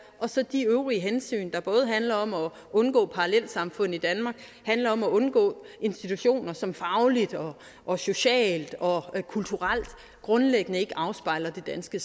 og så de øvrige hensyn der både handler om at undgå parallelsamfund i danmark og handler om at undgå institutioner som fagligt og socialt og kulturelt grundlæggende ikke afspejler det danske